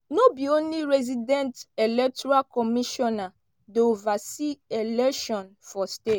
"no be only resident electoral commissioner dey oversee election for state.